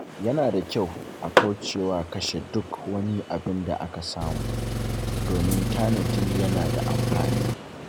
Yana da kyau a kauce wa kashe duk abin da aka samu, domin tanadi yana da amfani.